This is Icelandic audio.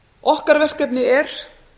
okkar verkefni er